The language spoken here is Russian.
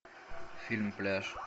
фильм пляж